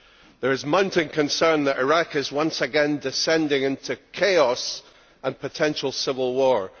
There is mounting concern that Iraq is once again descending into chaos and potential civil war.